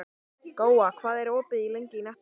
Góa, hvað er opið lengi í Nettó?